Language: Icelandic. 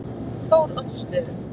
Þóroddsstöðum